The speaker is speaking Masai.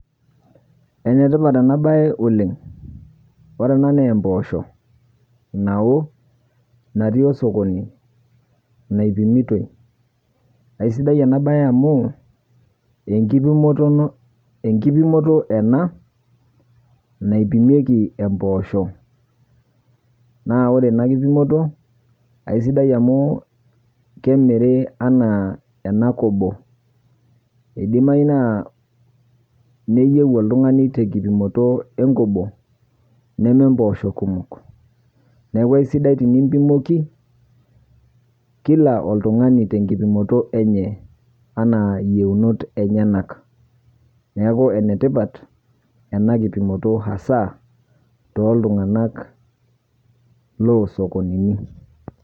Enetipat enabaye oleng'. Orena naa empoosho nawo natii osokoni naipimitoi. Aisidai enabaye amu enkipimotono, enkipimoto ena naipimieki empoosho naa orena kipimoto aisidai amu kemiri anaa ena kobo , eidimayu naa neyeu oltung'ani tenkipimoto enkobo nemempoosho kumok. Neaku aisidai tenimpimoki kila oltung'ani tenkipimoto enye anaa yieunot enyenak. Neaku enetipat ena kipimoto hasaa toltunganak loosokonini.